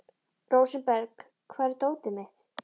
Rósinberg, hvar er dótið mitt?